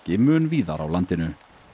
mun víðar á landinu